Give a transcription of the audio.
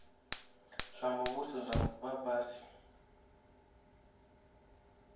zwa muvhuso zwa vha fhasi